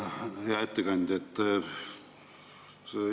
Hea ettekandja!